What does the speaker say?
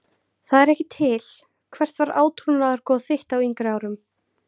Það er ekki til Hvert var átrúnaðargoð þitt á yngri árum?